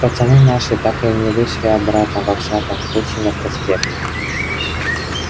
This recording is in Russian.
пацаны наши так и не вышли обратно во всяком случае на проспект